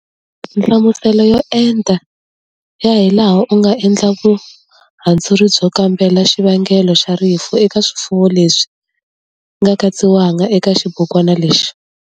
Nhlamuselo yo enta ya hilaha u nga endla vuhandzuri byo kambela xivangelo xa rifu eka swifuwo leswi nga katsiwangiki eka xibukwana lexi.